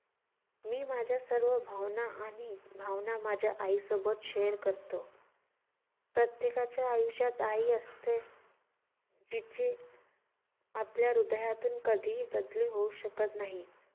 मी माझ्या सर्व भावना आणि भावना माझ्या आईसोबत share करतो. प्रत्येकाच्या आयुष्यात आई असते. तिची आपल्या हृदयातून कधी बदली होऊ शकत नाही.